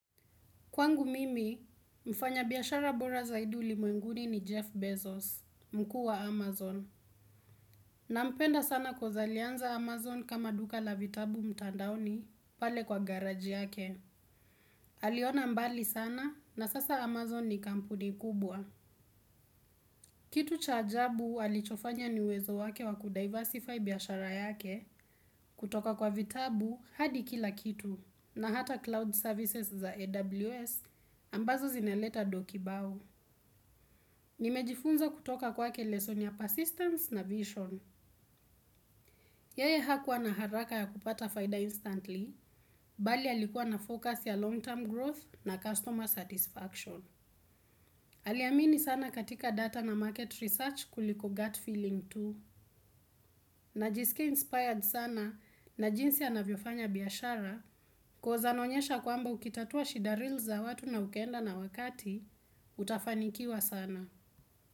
Kwangu mimi, mfanyabiashara bora zaidi ulimwenguni ni Jeff Bezos, mkuu wa Amazon. Nampenda sana coz alianza amazon kama duka la vitabu mtandaoni pale kwa garage yake. Aliona mbali sana na sasa Amazon ni kampuni kubwa. Kitu cha ajabu alichofanya ni uwezo wake wakudiversify biashara yake kutoka kwa vitabu hadi kila kitu. Na hata cloud services za AWS ambazo zinaleta doo kibao. Nimejifunza kutoka kwake lessoni ya persistence na vision. Yeye hakuwa na haraka ya kupata faida instantly, bali alikuwa na focus ya longterm growth na customer satisfaction. Aliamini sana katika data na market research kuliko gut feeling tu. Najisikia inspired sana na jinsi anavyofanya biashara, koz anaonyesha kwamba ukitatua shida real za watu na ukaenda na wakati, utafanikiwa sana.